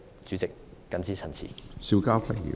主席，我謹此陳辭。